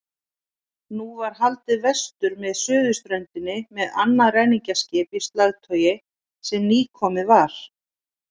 Nú var haldið vestur með suðurströndinni með annað ræningjaskip í slagtogi sem nýkomið var.